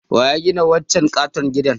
Waya gina wancan katon gidan?